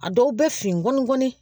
A dɔw bɛ finɔ gɔni